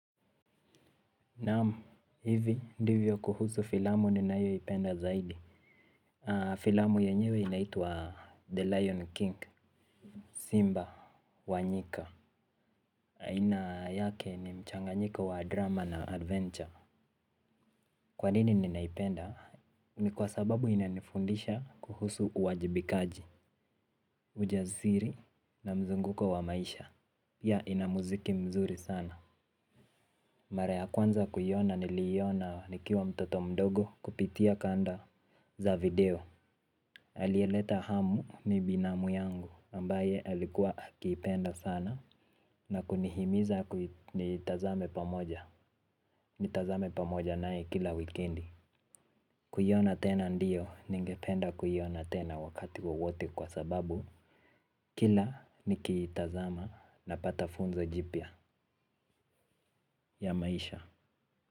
Naamu, hivi, ndivyo kuhusu filamu ninayo ipenda zaidi. Filamu yenyewe inaituwa The Lion King, Simba, Wanyika. Aina yake ni mchanganyiko wa drama na adventure. Kwa nini ninaipenda? Ni kwa sababu inanifundisha kuhusu uwajibikaji, ujaziri na mzunguko wa maisha. Pia ina muziki mzuri sana. Mara ya kwanza kuyona niliyona nikiwa mtoto mdogo kupitia kanda za video. Alieleta hamu ni binamu yangu ambaye alikuwa akiipenda sana. Na kunihimiza ni tazame pamoja. Ni tazame pamoja nae kila wikendi. Kuyiona tena ndiyo ningependa kuyiona tena wakati wowote kwa sababu kila ni kiitazama napata funzo jipia ya maisha.